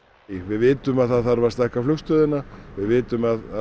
við vitum að það þarf að stækka flugstöðina við vitum að